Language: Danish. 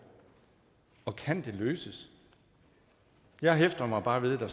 og kan det løses jeg hæfter mig bare ved at der